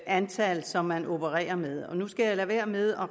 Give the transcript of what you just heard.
antal som man opererer med nu skal jeg lade være med at